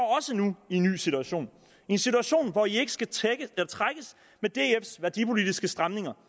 også nu i en ny situation i en situation hvor man ikke skal trækkes med dfs værdipolitiske stramninger